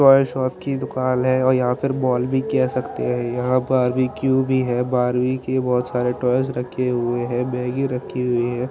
Toys और की दुकान हैं और यहाँ पर मॉल भी कह सकते हैं यहाँ पर वीकु भी हैं बार्बी की बहुत सारे टॉयज रखे हुए हैं मग्गी रखी हुई हैं।